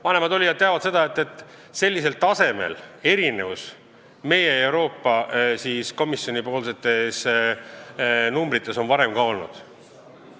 Vanemad olijad teavad, et sellisel tasemel erinevust meie ja Euroopa Komisjoni esitatud numbrites on varem ka olnud.